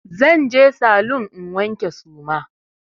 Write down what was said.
Zan je saloon in wanke suma.